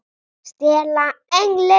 STELA ENGLI!